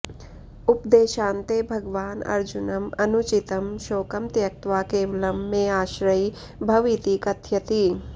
उपदेशान्ते भगवान् अर्जुनम् अनुचितं शोकं त्यक्त्वा केवलं मे आश्रयी भव इति कथयति